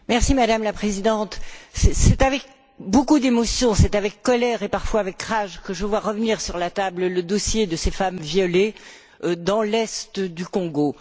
Madame la Présidente, c'est avec beaucoup d'émotion, avec colère et, parfois, avec rage que je vois revenir sur la table le dossier de ces femmes violées dans l'est du Congo.